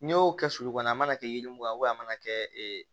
N'i y'o kɛ sulu kɔnɔ a mana kɛ yiri mugu ye a mana kɛ